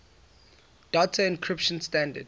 data encryption standard